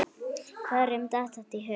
Hverjum datt þetta í hug?